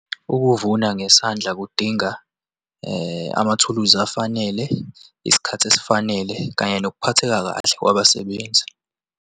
Ukuvuna ngesandla kudinga amathuluzi afanele, isikhathi esifanele, kanye nokuphatheka kahle kwabasebenzi.